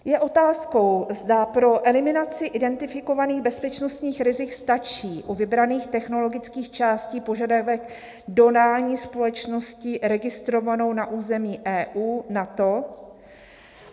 "Je otázkou, zda pro eliminaci identifikovaných bezpečnostních rizik stačí u vybraných technologických částí požadavek dodání společností registrovanou na území EU, NATO.